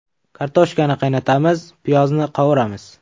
Kartoshkani qaynatamiz, piyozni qovuramiz.